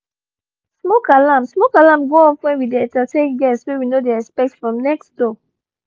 smoke alarm smoke alarm go off when we dey entertain guests wey we no dey expect from next door